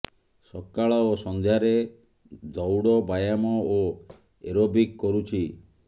ସକାଳେ ଓ ସନ୍ଧ୍ୟାରେ ଦୌଡ଼ ବ୍ୟାୟାମ ଓ ଏରୋବିକ୍ କରୁଛି